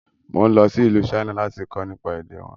Mo ń lọ sí ìlú China lati kọ́ nípa èdè wọn